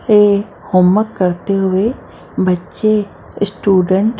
ए homework करते हुए बच्चे स्टूडेंट --